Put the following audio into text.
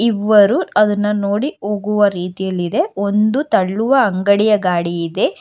ಮೂವರು ಅದುನ್ನ ನೋಡಿ ಹೋಗುವ ರೀತಿಯಲ್ಲಿದೆ ಒಂದು ತಳ್ಳುವ ಅಂಗಡಿಯ ಗಾಡಿ ಇದೆ.